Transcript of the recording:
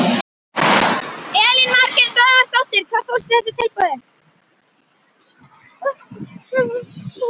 Elín Margrét Böðvarsdóttir: Hvað fólst í þessu tilboði?